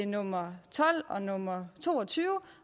nummer tolv og nummer to og tyve